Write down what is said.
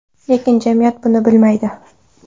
Lekin jamiyat buni bilmaydi.